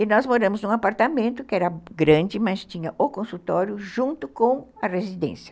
E nós moramos num apartamento que era grande, mas tinha o consultório junto com a residência.